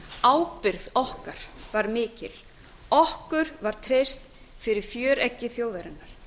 ábyrgð okkar var mikil okkur var treyst fyrir fjöreggi þjóðarinnar